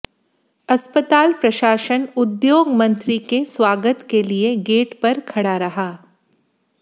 अस्पताल प्रशासन उद्योग मंत्री के स्वागत के लिए गेट पर खड़ा रहा